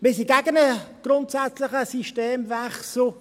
Wir sind gegen einen grundsätzlichen Systemwechsel.